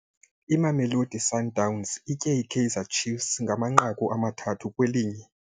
Imamelodi Sundowns itye iKaizer Chiefs ngamanqaku amathathu kwelinye.